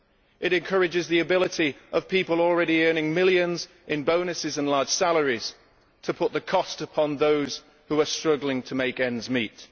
it encourages the ability of people already earning millions in bonuses and large salaries to put the cost upon those who are struggling to make ends meet.